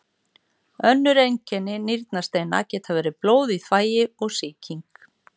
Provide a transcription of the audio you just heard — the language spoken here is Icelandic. Önnur einkenni nýrnasteina geta verið blóð í þvagi og sýking.